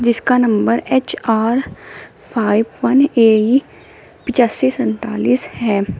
इसका number H R five one A E पिचासी सैंतालीस है।